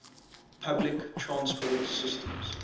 public transport systems